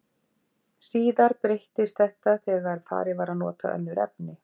Síðar breyttist þetta þegar farið var að nota önnur efni.